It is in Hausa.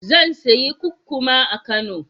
Zan sayi kukkuma a Kano.